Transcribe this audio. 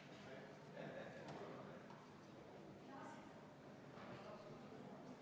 Raudteeseaduse muudatuse kiirem jõustamine on oluline, kuna kehtiva raudteeseaduse järgi rakendatakse erandeid 3. detsembrist 2019.